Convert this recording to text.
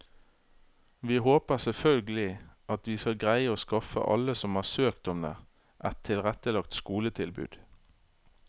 Vi håper selvfølgelig at vi skal greie å skaffe alle som har søkt om det, et tilrettelagt skoletilbud.